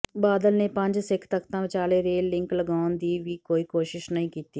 ਬਾਦਲ ਨੇ ਪੰਜ ਸਿੱਖ ਤਖਤਾਂ ਵਿਚਾਲੇ ਰੇਲ ਲਿੰਕ ਲਗਾਉਣ ਦੀ ਵੀ ਕੋਈ ਕੋਸ਼ਿਸ਼ ਨਹੀਂ ਕੀਤੀ